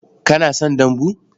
Kana son dambu?